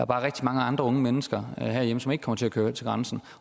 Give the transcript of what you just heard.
bare rigtig mange andre unge mennesker herhjemme som ikke kommer til at køre til grænsen